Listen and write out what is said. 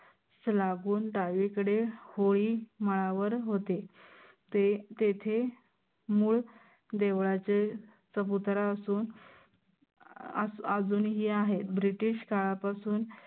सलागून डावीकडे होई. माळावर होते ते तेथे मूळ देवळाचे चबुतरा असून अं अजूनही आहे british काळापासून